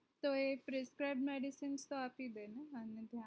તો એ treefat medicine તો આપી દેને ત્યાં